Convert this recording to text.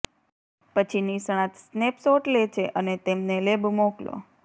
પછી નિષ્ણાત સ્નેપશોટ લે છે અને તેમને લેબ મોકલો